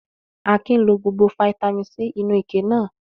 Akin lo gbogbo fataímìn C inú ike náà?